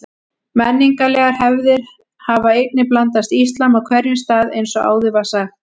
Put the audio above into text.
Menningarlegar hefðir hafa einnig blandast íslam á hverjum stað eins og áður var sagt.